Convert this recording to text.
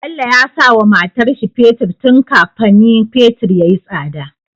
Bello yasa wa matarshi fetir tun kafani fetir yayi tsada